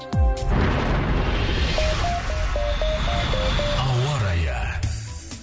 ауа райы